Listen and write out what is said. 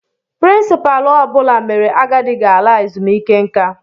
Pirincipaalu ọ bụla mere agadi ga ala ezumiike nka